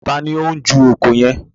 Taàní ó ń ju oko yẹn?